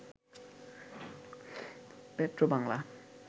Petrobangla